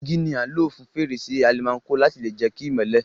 Dígí ni a n lo fún fèrèsé almanco láti lè jẹ ki ìmọ́lẹ̀